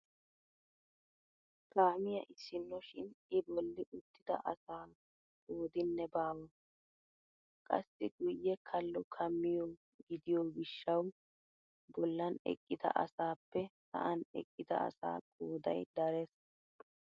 Kaamiyaa issino shin I bolli uttida asaa qoodinne baawa! Qassi guye kallo kaamiyoo gidiyoo gishshawu bollan eqqida asaappe sa'an eqqida asaa qooday darees!